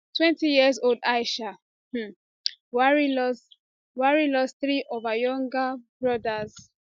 twentyyearold aisha um buhari lose buhari lose three of her younger brothers